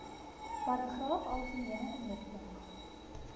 paragraaf algemene inligting